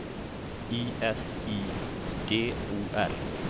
I S I D O R